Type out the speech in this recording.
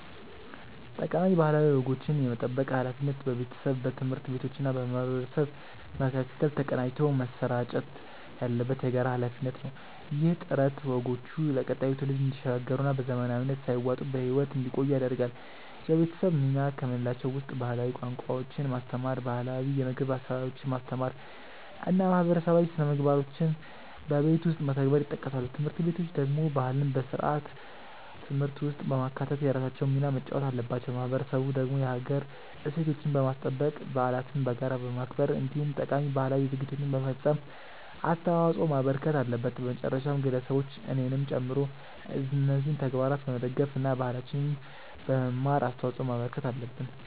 ጠቃሚ ባህላዊ ወጎችን የመጠበቅ ሃላፊነት በቤተሰብ፣ በትምህርት ቤቶችና በማህበረሰብ መካከል ተቀናጅቶ መሰራጨት ያለበት የጋራ ሃላፊነት ነው። ይህ ጥረት ወጎቹ ለቀጣዩ ትውልድ እንዲሸጋገሩና በዘመናዊነት ሳይዋጡ በህይወት እንዲቆዩ ያደርጋል። የቤተሰብ ሚና ከምንላቸው ውስጥ ባህላዊ ቋንቋዎችን ማስተማር፣ ባህላው የምግብ አሰራሮችን ማስተማር እና ማህበረሰባዊ ስነምግባሮችን በቤት ውስጥ መተግበር ይጠቀሳሉ። ትምህርት ቤቶች ደግሞ ባህልን በስርዓተ ትምህርት ውስጥ በማካተት የራሳቸውን ሚና መጫወት አለባቸው። ማህበረሰቡ ደግሞ የሀገር እሴቶችን በማስጠበቅ፣ በዓለትን በጋራ በማክበር እንዲሁም ጠቃሚ ባህላዊ ድርጊቶችን በመፈፀም አስተዋጽዖ ማበርከት አለበት። በመጨረሻም ግለሰቦች እኔንም ጨምሮ እነዚህን ተግባራት በመደገፍ እና ባህላችንን በመማር አስተዋጽዖ ማበርከት አለብን።